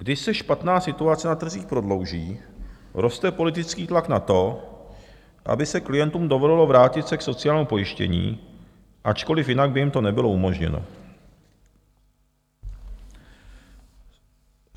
Když se špatná situace na trzích prodlouží, roste politický tlak na to, aby se klientům dovolilo vrátit se k sociálnímu pojištění, ačkoliv jinak by jim to nebylo umožněno.